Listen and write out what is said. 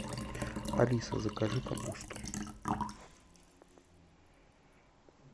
алиса закажи капусту